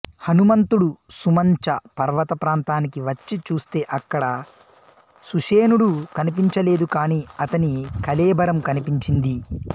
హనుమంతుడు సుమంచ పర్వతప్రాంతానికి వచ్చి చూస్తే అక్కడ సుశేణుడు కనిపించలేదు కాని అతని కళేభరం కనిపించింది